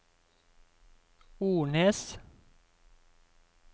Ornes